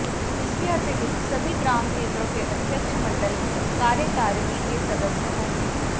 इसके अतिरिक्त सभी ग्राम केंद्रों के अध्यक्ष मंडल कार्यकारिणी के सदस्य होंगे